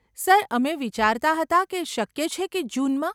Sir, અમે વિચારતા હતા કે શક્ય છે કે જૂનમાં?